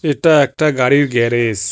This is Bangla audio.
এটা একটা গাড়ির গ্যারেস ।